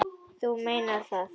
Þú meinar það.